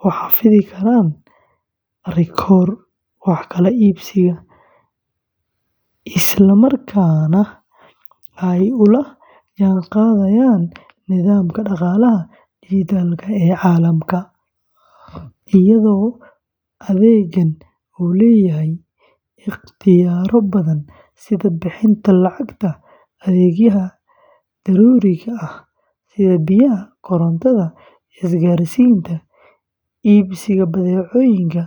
u xafidi karaan rikoodhka wax kala iibsiga, islamarkaana ay ula jaanqaadayaan nidaamka dhaqaalaha dijitaalka ah ee caalamka, iyadoo adeeggan uu leeyahay ikhtiyaarro badan sida bixinta lacagta adeegyada daruuriga ah sida biyaha, korontada, isgaarsiinta, iibsiga badeecooyinka.